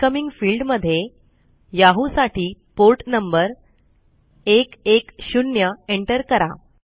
incoming field मध्ये Yahoo साठी port number 110 enter करा